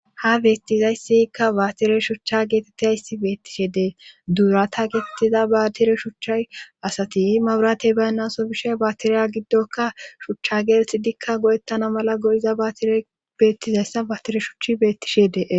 Ha beettizayssikka baatire shucha geetettizayssi beettishe dee duurata geetettiza baatire shuchcha asati maburatey baynnaso bishe baatiriya giddoka shuchcha geetetidikka go'ettana mala go'iza baatire beettizayssa baatire shuchi beettishe dee.